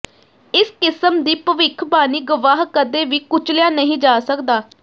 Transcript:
ਇਸ ਕਿਸਮ ਦੀ ਭਵਿੱਖਬਾਣੀ ਗਵਾਹ ਕਦੇ ਵੀ ਕੁਚਲਿਆ ਨਹੀਂ ਜਾ ਸਕਦਾ